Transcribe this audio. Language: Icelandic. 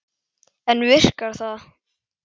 En virkar það?